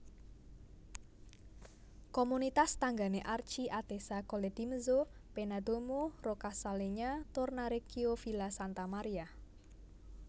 Komunitas tanggané Archi Atessa Colledimezzo Pennadomo Roccascalegna Tornareccio Villa Santa Maria